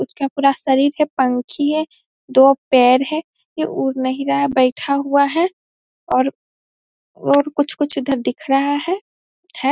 उसका पूरा शरीर का पंखी है दो पैर है ये उड़ नही रहा है बैठा हुआ है और और कुछ-कुछ इधर दिख रहा है है।